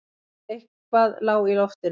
Eitthvað lá í loftinu.